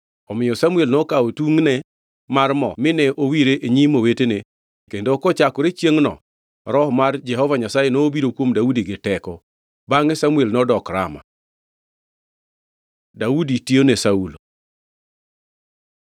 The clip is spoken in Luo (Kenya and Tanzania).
Omiyo Samuel nokawo tungʼne mar mo mine owire e nyim owetene kendo kochakore chiengʼno Roho mar Jehova Nyasaye nobiro kuom Daudi gi teko. Bangʼe Samuel to nodok Rama. Daudi tiyone Saulo